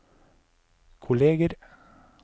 kolleger